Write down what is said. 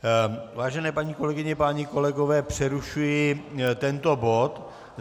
Vážené paní kolegyně, páni kolegové, přerušuji tento bod.